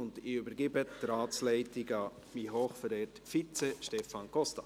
Ich übergebe die Ratsleitung an meinen hochverehrten Vizepräsidenten, Stefan Costa.